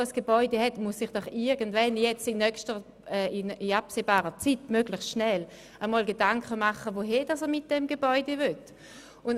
Und jeder, der im Besitz eines solchen Hauses ist, muss sich in absehbarer Zeit, also möglichst rasch Gedanken darüber machen, was er mit seinem Gebäude machen will.